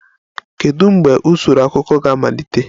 Kedu mgbe usoro akụkọ ga-amalite?